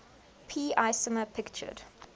p isomer pictured